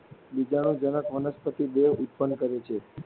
બીજાણુજનક વનસ્પતિ દેહ ઉત્પન્ન કરે છે.